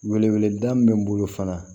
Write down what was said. Wele wele da min bɛ n bolo fana